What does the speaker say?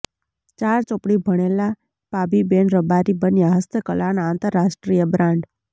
ચાર ચોપડી ભણેલા પાબીબેન રબારી બન્યાં હસ્તકલાના આંતરરાષ્ટ્રીય બ્રાન્ડ